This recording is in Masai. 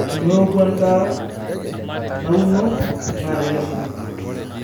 Teneku endaa nauno naa keikesuni